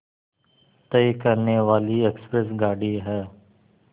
तय करने वाली एक्सप्रेस गाड़ी है